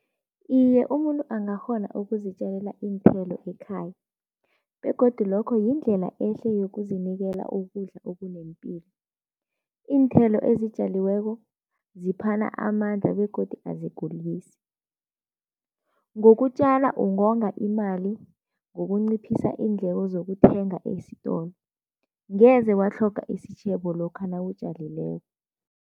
Iye, umuntu angakghona ukuzitjalela iinthelo ekhaya begodu lokho yindlela ehle yokuzinikela ukudla okunempilo. Iinthelo ezitjaliweko ziphana amandla begodu azigulisi. Ngokutjala ungonga imali, ngokunciphisa iindleko zokuthenga esitolo. Ngeze watlhoga isitjhebo lokha nawutjalileko.